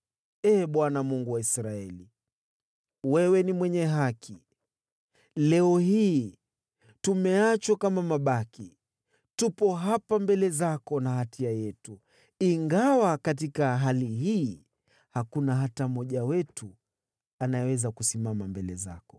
Ee Bwana , Mungu wa Israeli, wewe ni mwenye haki! Leo hii tumeachwa kama mabaki. Tupo hapa mbele zako na hatia yetu, ingawa katika hali hii hakuna hata mmoja wetu anayeweza kusimama mbele zako.”